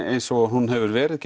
eins og hún hefur verið